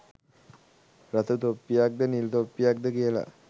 රතු තොප්පියක්ද නිල් තොප්පියක්ද කියල